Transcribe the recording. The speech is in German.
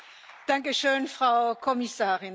Danke schön, Frau Kommissarin.